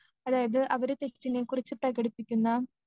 അതായത് അവര് തിരുത്തിനെക്കുറിച്ച് പ്രകടിപ്പിക്കുന്ന